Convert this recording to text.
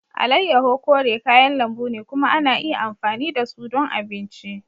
Alayyahu kore kayan lambu ne kuma ana iya amfani da su ɗon abinci.